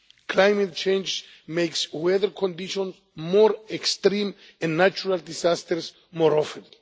Climate change makes weather conditions more extreme in natural disasters more often.